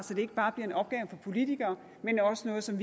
så det ikke bare bliver en opgave for politikere men også noget som